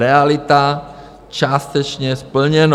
Realita - částečně splněno.